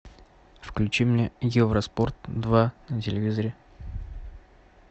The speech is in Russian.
включи мне евроспорт два на телевизоре